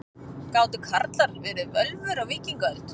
Gátu karlar verið völvur á víkingaöld?